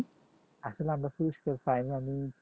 আসলে আমি কোন পুরস্কার পায়নি আমি